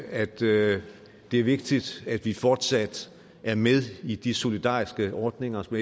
at det er vigtigt at vi fortsat er med i de solidariske ordninger som